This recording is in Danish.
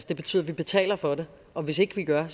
det betyder at vi betaler for det og hvis ikke vi gør